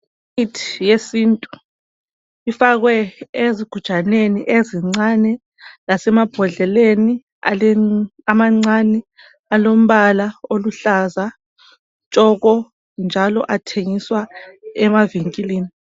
Imithi yesintu ifakwe ezigujaneni ezincane lasemabhodleleni amancane alombala oluhlaza tshoko, njalo athengiswa emavinkilini.